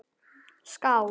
Skál!